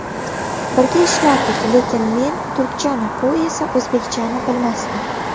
Birga ishlardik, lekin men turkchani, u esa o‘zbekchani bilmasdi.